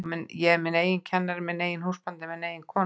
Ég er minn eigin kennari, minn eigin húsbóndi, minn eigin konungur.